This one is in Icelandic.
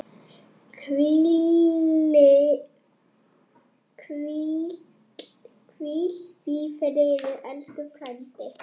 Hvíl í friði, elsku frændi.